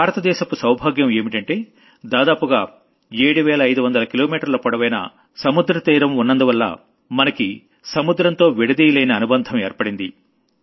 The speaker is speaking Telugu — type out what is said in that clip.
భారత దేశపు సౌభాగ్యం ఏంటంటే దాదాపుగా 7వేల 5 వందల కిలోమీటర్ల పొడవైన కోస్ట్ లైన్ ఉన్నందువల్ల మనకి సముద్రంతో విడదీయలేని అనుబంధం ఏర్పడింది